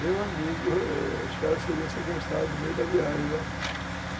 Meu amigo, os caras seriam sequestrados no meio da viagem, né? Uhum.